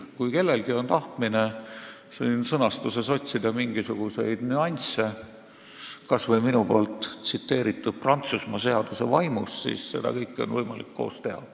Kui kellelgi on tahtmine siin sõnastuses otsida mingisuguseid nüansse, kas või minu tsiteeritud Prantsusmaa seaduse vaimus, siis seda kõike on võimalik koos teha.